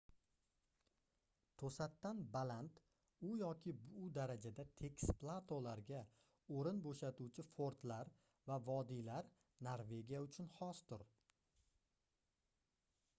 toʻsatdan baland u yoki bu darajada tekis platolarga oʻrin boʻshatuvchi fordlar va vodiylar norvegiya uchun xosdir